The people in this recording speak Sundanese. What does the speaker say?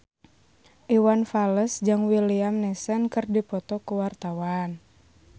Iwan Fals jeung Liam Neeson keur dipoto ku wartawan